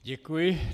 Děkuji.